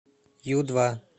ю два